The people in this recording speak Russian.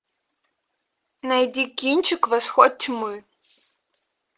найди кинчик восход тьмы